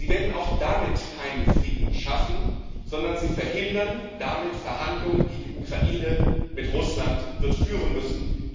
Sie werden auch damit keinen Frieden schaffen, sondern Sie verhindern damit Verhandlungen, die die Ukraine mit Russland wird führen müssen.